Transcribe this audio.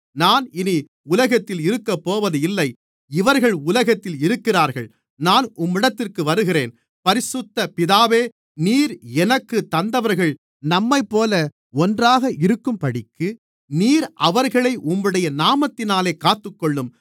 நான் இனி உலகத்தில் இருக்கப்போவதில்லை இவர்கள் உலகத்தில் இருக்கிறார்கள் நான் உம்மிடத்திற்கு வருகிறேன் பரிசுத்த பிதாவே நீர் எனக்குத் தந்தவர்கள் நம்மைப்போல ஒன்றாக இருக்கும்படிக்கு நீர் அவர்களை உம்முடைய நாமத்தினாலே காத்துக்கொள்ளும்